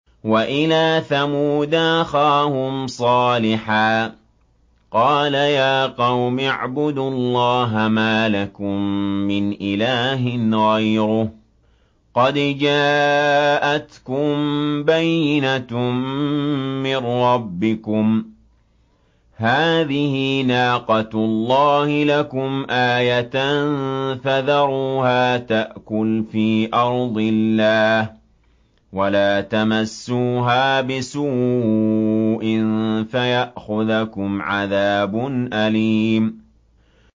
وَإِلَىٰ ثَمُودَ أَخَاهُمْ صَالِحًا ۗ قَالَ يَا قَوْمِ اعْبُدُوا اللَّهَ مَا لَكُم مِّنْ إِلَٰهٍ غَيْرُهُ ۖ قَدْ جَاءَتْكُم بَيِّنَةٌ مِّن رَّبِّكُمْ ۖ هَٰذِهِ نَاقَةُ اللَّهِ لَكُمْ آيَةً ۖ فَذَرُوهَا تَأْكُلْ فِي أَرْضِ اللَّهِ ۖ وَلَا تَمَسُّوهَا بِسُوءٍ فَيَأْخُذَكُمْ عَذَابٌ أَلِيمٌ